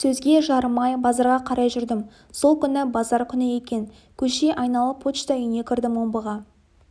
сөзге жарымай базарға қарай жүрдім сол күні базар күні екен көше айналып почта үйіне кірдім омбыға